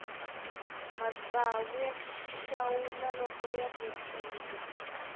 matsawu ya xawula loko ya vupfile